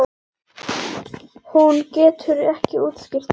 Hún getur ekki útskýrt það.